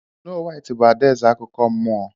Snow White bụ adaeze akụkọ nmụọ.